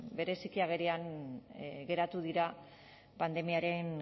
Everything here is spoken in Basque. bereziki agerian geratu dira pandemiaren